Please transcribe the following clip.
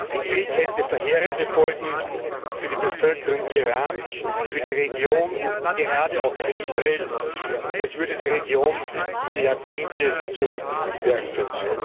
Ein Krieg hätte verheerende Folgen für die Bevölkerung Irans, für die Region, gerade auch für Israel, und es würde die Region um Jahrzehnte zurückwerfen.